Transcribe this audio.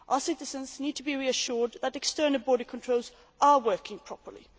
Our citizens need to be reassured that external border controls are working properly.